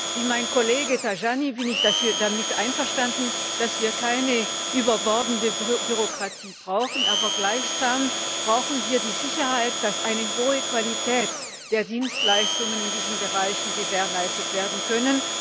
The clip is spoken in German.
Wie mein Kollege Tajani bin ich damit einverstanden, dass wir keine überbordende Bürokratie brauchen, aber gleichsam brauchen wir die Sicherheit, dass eine hohe Qualität der Dienstleistungen in diesen Bereichen gewährleistet werden kann.